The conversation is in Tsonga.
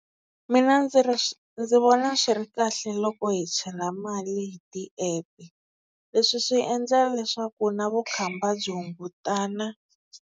Mina ndzi ri ndzi vona swi ri kahle loko hi chela mali tiepe leswi swi endlela leswaku na vukhamba byi hungutana.